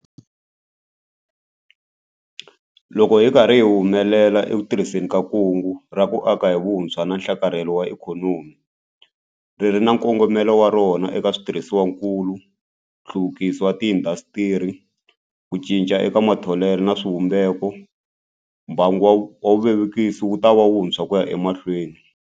Loko hi ri karhi hi humelela eku tirhiseni ka Kungu ra ku Aka hi Vutshwa na Nhlakarhelo wa Ikhonomi - ri ri na nkongomo wa rona eka switirhisiwakulu, nhluvukiso wa tiindasitiri, ku cinca eka matholelo na swivumbeko - mbangu wa vuvekisi wu ta antswa ku ya emahlweni.